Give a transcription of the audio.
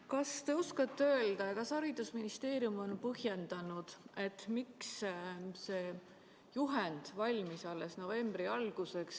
Kas te oskate öelda, kas haridusministeerium on põhjendanud, miks see juhend valmis alles novembri alguseks?